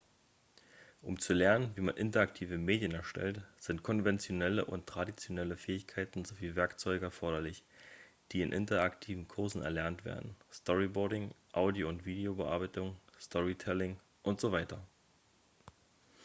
um zu lernen wie man interaktive medien erstellt sind konventionelle und traditionelle fähigkeiten sowie werkzeuge erforderlich die in interaktiven kursen erlernt werden storyboarding audio- und videobearbeitung storytelling usw.